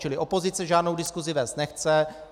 Čili opozice žádnou diskusi vést nechce.